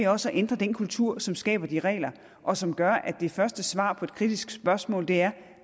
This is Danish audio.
også at ændre den kultur som skaber de regler og som gør at det første svar på et kritisk spørgsmål er